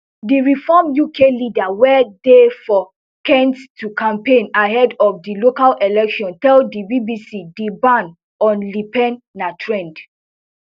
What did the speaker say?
di reform uk leader wey dey for kent to campaign ahead of di local elections tell di bbc di ban on le pen na trend